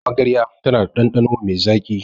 Magarya tana da ɗanɗano mai zaƙi.